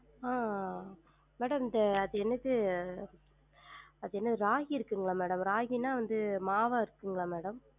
ஆஹ் madam இந்த அது எனுது அது எனுது ராகி இருக்குங்களா madam? ராகினா வந்து மாவா இருக்குங்களா madam?